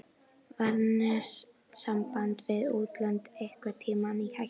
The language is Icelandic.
Var netsamband við útlönd einhvern tímann í hættu?